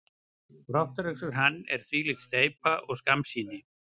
Brottrekstur hans er þvílík steypa og skammsýni.